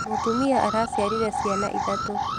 Mũtumia araciarire ciana ithatũ.